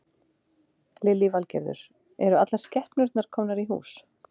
Lillý Valgerður: Eru allar skepnurnar komnar í hús?